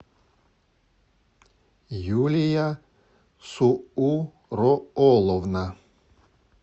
юлия суурооловна